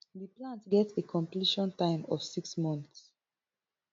di plant get a completion time of six months